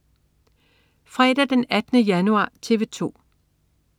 Fredag den 18. januar - TV 2: